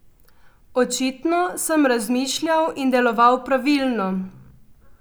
Očitno sem razmišljal in deloval pravilno.